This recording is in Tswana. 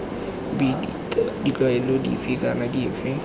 b ditlwaelo dife kana dife